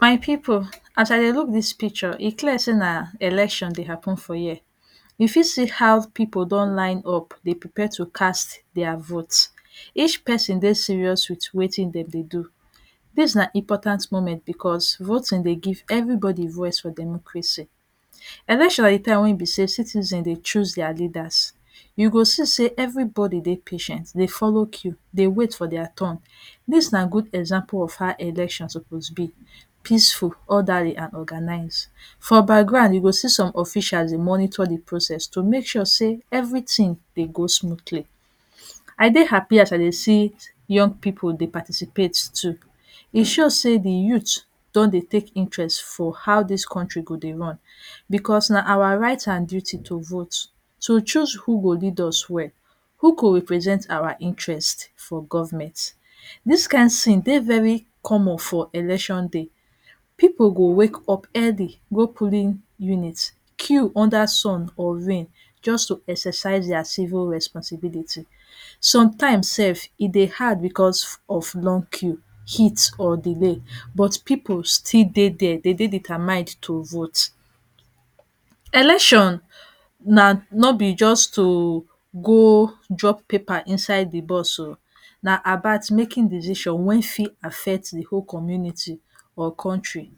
My pipu, as I dey look dis picture, e clear sey na election dey happen for here. You fit see how pipu don lineup dey prepare to cast dia vote. Each pesin dey serious with wetin dem dey do. Dis na important moment because voting dey give everybody voice for democracy. Election na de time wey e be sey citizen dey choose dia leaders. You go see sey everybody dey patient dey follow queue dey wait for dia turn. Dis na good example of how election suppose be - peaceful, orderly and organized. For background, you go see some officials dey monitor de process to make sure sey everything dey go smoothly. I dey happy as I dey see young pipu dey participate too. E show sey de youth don dey take interest for how dis country go dey run because na awa right and duty to vote, to choose who go lead us well, who go represent awa interest for government. Dis kind scene dey very common for election day. People go wake up early go polling unit, queue under sun or rain just to exercise dia civil responsibility. Sometimes sef, e dey hard because of long queue, heat or delay, but pipu still dey there. De dey determined to vote. Election na no be just to go drop paper inside the box o, na about making decision wey fit affect the whole community or country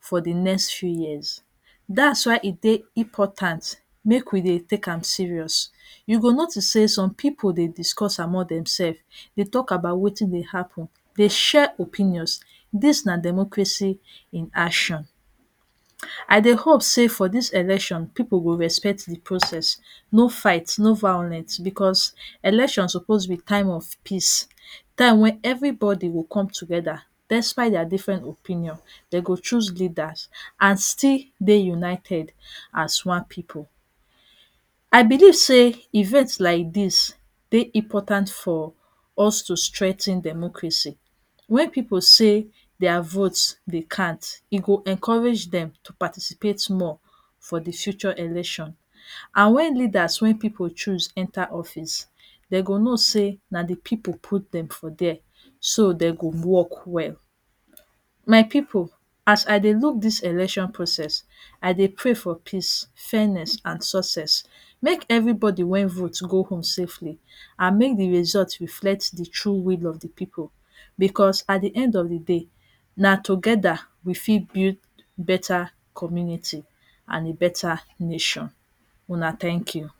for the next few years. That’s why e dey important make we dey take am serious. You go notice sey some pipu dey discuss among themself, dey talk about wetin dey happen, dey share opinions. Dis na democracy in action. I dey hope sey for dis election, pipu go respect de process. No fight, no violence because election suppose be time of peace. Time when everybody go come together, despite dia different opinion, dem go choose leaders and still dey united as one pipu. I believe sey event like dis dey important for us to strengthen democracy. When pipu say dia vote dey count, e go encourage dem to participate more for de future election. And when leaders wey pipu choose enter office, de go know sey na the pipu put dem for there so de go work well. My pipu, as I dey look dis election process, I dey pray for peace, fairness and success. Make everybody wey vote go home safely and make de result reflect de true will of de pipu, because at de end of de day, na together we fit build better community and better nation. Una thank you!